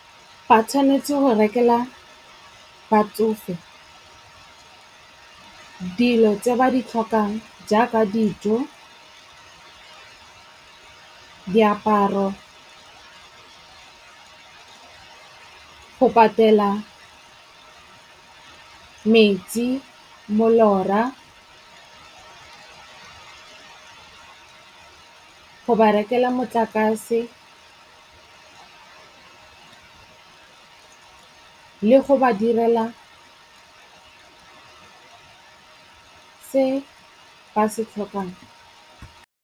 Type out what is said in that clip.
Ba tshwanetse go rekela batsofe dilo tse ba di tlhokang jaaka dijo, diaparo, go patela metsi, molora, go ba rekela motlakase le go ba direla se ba se tlhokang.